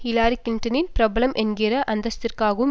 Hillary கிளின்டனின் பிரபலம் என்கிற அந்தஸ்திற்காகவும்